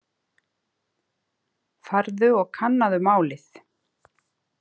Farðu og kannaðu málið.